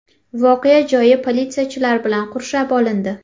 Voqea joyi politsiyachilar bilan qurshab olindi.